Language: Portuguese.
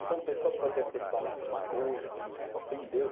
Então, a pessoa pode até falar alguma coisa que me ofendeu.